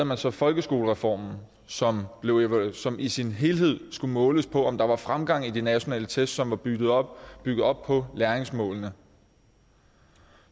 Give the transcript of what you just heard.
man så folkeskolereformen som i sin helhed skulle måles på om der var fremgang i de nationale test som var bygget op bygget op på læringsmålene